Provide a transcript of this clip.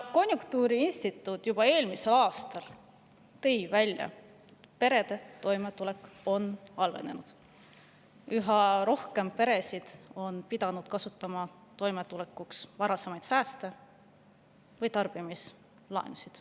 Konjunktuuriinstituut tõi juba eelmisel aastal välja, et perede toimetulek on halvenenud, üha rohkem peresid on pidanud kasutama toimetulekuks sääste või tarbimislaenusid.